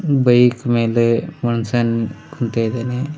Bike ಮೇಲೆ ಮನ್ ಷ್ಯ ನಿಂತ್ ಕುಂತಿದಾನೆ.